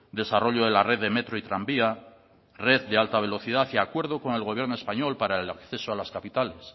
desarrollo de la red de metro y tranvía red de alta velocidad y acuerdo con el gobierno español para el acceso a las capitales